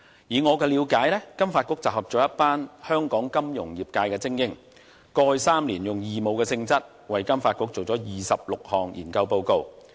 以我的了解，金發局集合了一群香港金融業界精英，過去3年以義務性質為金發局做了26項研究報告。